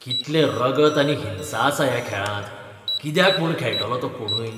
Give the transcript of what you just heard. कितलें रगत आनी हिंसा आसा ह्या खेळांत. कित्याक म्हूण खेळटलो तो कोणूय?